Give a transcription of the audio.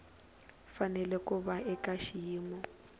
fanele ku va eka xiyimo